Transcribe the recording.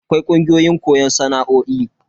Akwai kungiyoyin koyon sana'o'i.